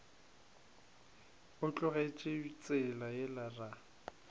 o tlogetše tsela yela ra